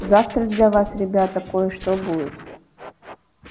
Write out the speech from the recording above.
завтра для вас ребята кое-что будет